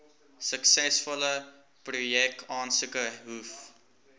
suksesvolle projekaansoeke hoef